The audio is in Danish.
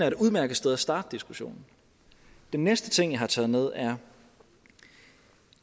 et udmærket sted at starte diskussionen den næste ting jeg har taget ned er